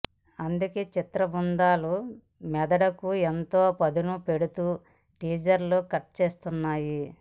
అందుకే చిత్రబృందాలు మెదడుకు ఎంతో పదును పెడుతూ టీజర్లు కట్ చేస్తుంటాయి